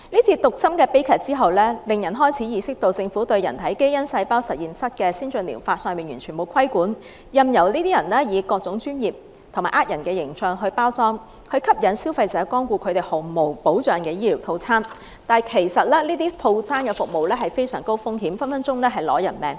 這宗毒針悲劇令人開始意識到，政府對人體基因細胞實驗室的先進療法完全沒有規管，任由這些人以各種專業及騙人的形象作包裝，吸引消費者光顧他們毫無保障的醫療套餐，但其實這些服務是非常高風險的，隨時會令人死亡。